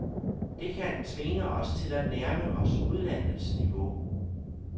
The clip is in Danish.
Det kan tvinge os til at nærme os udlandets niveau.